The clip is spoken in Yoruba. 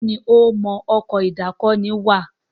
Béèni o mọ Ọkọ̀ ìdákoní wà.